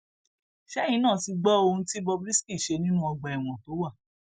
ṣẹyìn náà ti gbọ ohun tí bob risky ṣe nínú ọgbà ẹwọn tó wà